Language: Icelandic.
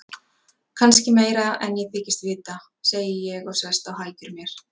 Kannski meira en ég þykist vita, segi ég og sest á hækjur mér.